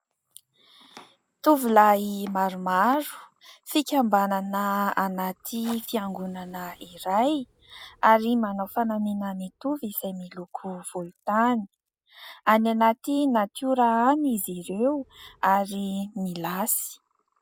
Tovolahy maromaro fikambanana anaty fiangonana iray ary manao fanamiana mitovy izay miloko volontany ; any anaty natiora any izy ireo ary milasy.